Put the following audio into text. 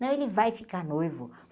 Não, ele vai ficar noivo.